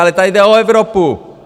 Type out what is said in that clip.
Ale tady jde o Evropu!